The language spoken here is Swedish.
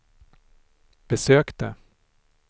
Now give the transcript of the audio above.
besökte